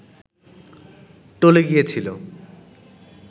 টলে গিয়েছিল